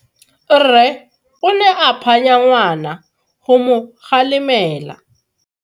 Rre o ne a phanya ngwana go mo galemela.